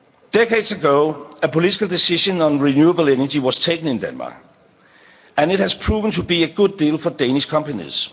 Europe. Decades ago, a political decision on renewable energy was taken in Denmark and it has proven to be a good deal for Danish companies.